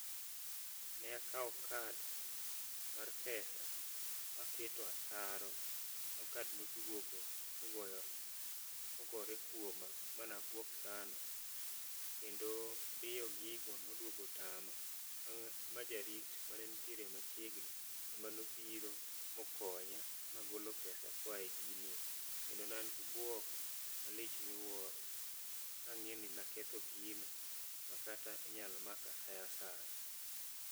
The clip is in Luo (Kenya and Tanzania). Ne akawo kad mar pesa maketo ataro ma kad nodwogo mogoyo, mogore kuoma ma nabwok sana. Kendo diyo gigo nodwogo tama ma jarit mane nitiere machiegni emanobiro mokonya magolo pesa koa e ginie. Kendo ne an gi bwok malich miwuoro kang'e ni naketho gino, makata inyal maka sa asaya.